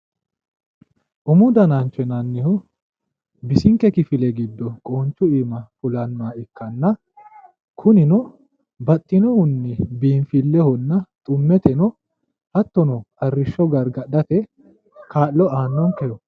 umu danancho yinannihu bisinke kifile giddo qoonchu iima fule hee'rannoha ikkanna kunino baxxinohunni biinfilehonna xummete hattono arrishsho gargadhate kaa'lo aannonke